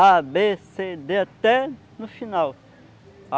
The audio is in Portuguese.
á bê cê dê até no final.